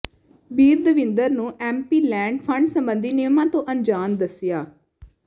ਬੀਰਦਵਿੰਦਰ ਨੂੰ MPLAD fund ਸਬੰਧੀ ਨਿਯਮਾਂ ਤੋਂ ਅਣਜਾਣ ਦੱਸਿਆ